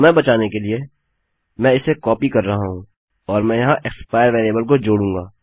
समय बचाने के लिए मैं इसे कॉपी कर रहा हूँ और मैं यहाँ एक्सपायर वेरिएबल को जोड़ूँगा